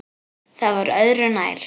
Það var öðru nær.